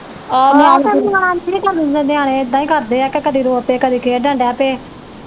ਨਿਆਣੇ ਏਦਾਂ ਈ ਕਰਦੇ ਆ ਕੇ ਕਦੀ ਰੋ ਪੈ ਕਦੀ ਖੇਡਣ ਦੇ ਪੈ।